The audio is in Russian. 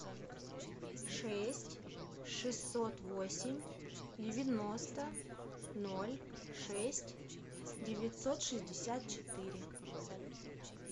шесть шестьсот восемь девяносто ноль шесть девятьсот шестьдесят четыре